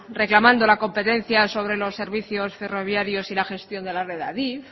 reclamando la competencia sobre los servicios ferroviarios y la gestión de la red de adif